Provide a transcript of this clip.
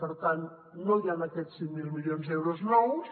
per tant no hi han aquests cinc mil milions d’euros nous